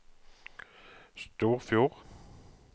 Storfjord